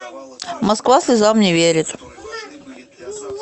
москва слезам не верит